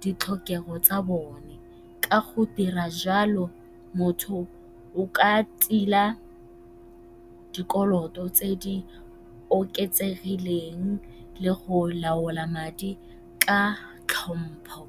ditlhokego tsa bone. Ka go dira jalo motho o ka tila dikoloto tse di oketsegileng le go laola madi ka tlhompho.